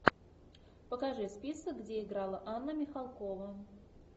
покажи список где играла анна михалкова